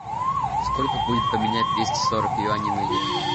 сколько будет поменять двести сорок юаней на евро